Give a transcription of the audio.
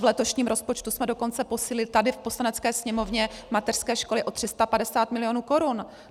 V letošním rozpočtu jsme dokonce posílili tady v Poslanecké sněmovně mateřské školy o 350 milionů korun.